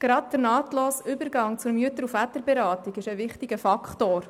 Gerade der nahtlose Übergang zur Mütter- und Väterberatung ist ein wichtiger Faktor.